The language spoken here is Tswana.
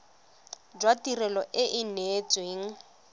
jwa tirelo e e neetsweng